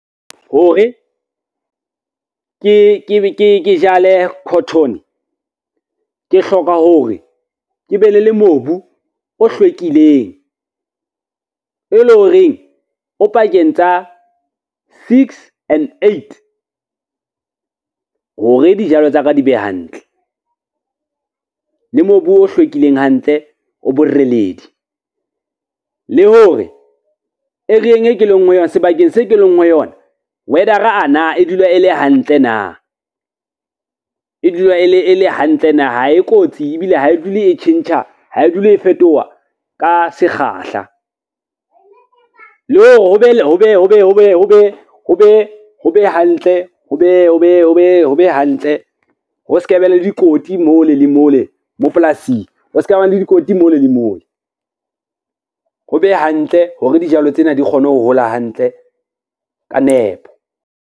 Hore ke jale cotton, ke hloka hore ke be le le mobu o hlwekileng, e le horeng o pakeng tsa six and eight, hore dijalo tsa ka di be hantle, le mobu o hlwekileng hantle o boreledi. Le hore sebakeng se ke leng ho yona weather-a na e dula e le hantle na, e dula e le hantle na. Ha e kotsi, ebile ha e dule e tjhentjha, ha e dule e fetoha ka sekgahla le hore ho be hantle ho se ke be le dikoti mole le mole mo polasing ho ska ba le dikoti mole le mole, ho be hantle hore dijalo tsena di kgone ho hola hantle ka nepo.